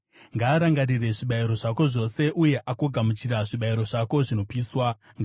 Ngaarangarire zvibayiro zvako zvose uye agogamuchira zvibayiro zvako zvinopiswa. Sera